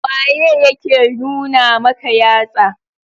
Waye yake nuna maka yatsa.